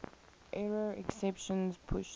error exceptions pushed